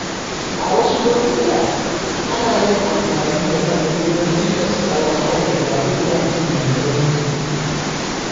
A wasu lokuta, ana yin amfani da matsayi don tilasta wa ma’aikata yin aiki mai nauyi.